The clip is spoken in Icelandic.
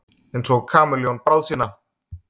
Einsog kameljón bráð sína.